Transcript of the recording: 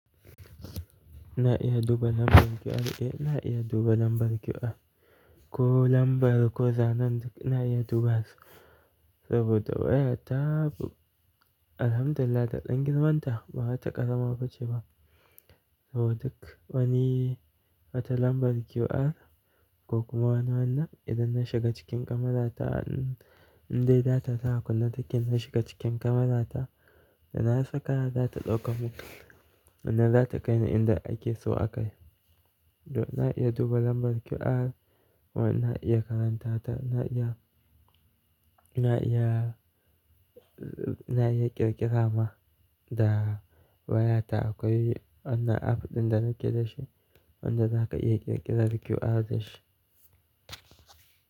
Na iya duba lambar QR, eh na iya duba lambar QR. Ko lambar ko zananta na iya duba su saboda waya ta alhamdulillah ta dangin wanda ba za ta ƙasama bacci ba. Saboda duk wani wata lambar QR ko kuma wannan idan na shiga cikin kamata indai data tana kunne daki na shiga cikin kamata, da na saka za ta ɗauka mun. Wanna za ta kai ni inda ake so a kai. To na iya duba lambar QR kuma na iya karanta ta. Na iya, na iya, na iya ƙirƙira ma da waya ta akwai wannan app ɗin da na ƙira shi wanda za ka iya ƙirƙira QR da shi.